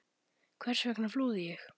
Hvers vegna flúði ég?